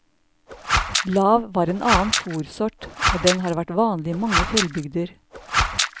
Lav var en annen fórsort, og den har vært vanlig i mange fjellbygder.